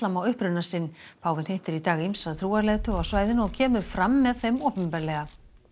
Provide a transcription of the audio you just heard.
á uppruna sinn páfinn hittir í dag ýmsa trúarleiðtoga á svæðinu og kemur fram með þeim opinberlega